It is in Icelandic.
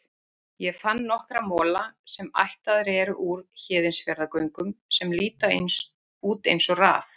Ég fann nokkra mola, sem ættaðir eru úr Héðinsfjarðargöngum, sem líta út eins og raf.